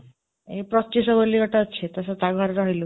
ଏଇ ପ୍ରତ୍ୟୁଷ ବୋଲି ଗୋଟେ ଅଛି, ତ ସେ ତା ଘରେ ରହିଲୁ